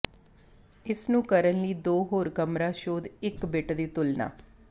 ਇਸ ਨੂੰ ਕਰਨ ਲਈ ਦੋ ਹੋਰ ਕਮਰਾ ਸੋਧ ਇੱਕ ਬਿੱਟ ਦੀ ਤੁਲਨਾ